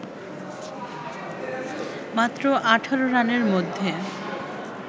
মাত্র ১৮ রানের মধ্যে